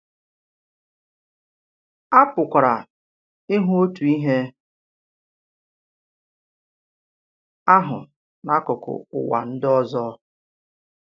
À pụ̀kwara ịhụ̀ òtù ihe ahụ n’akụkụ Ụ̀wà ndị ọzọ.